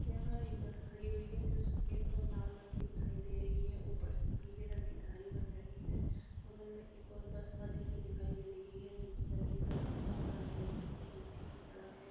यहां एक बस खड़ी हुई है जो सफेद और लाल रंग की दिखाई दे रही है। ऊपर से पीले रंग की धारी बन रही है। बगल में एक और बस आती सी दिखाई दे रही है। नीचे जमीन पर कूड़ा पड़ा हुआ है। मिट्टी की सड़क है।